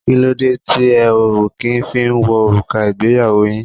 Kí ló dé tí ẹ o kí ń fí wo òrùka ìgbéyàwó yín?